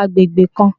agbegbe kan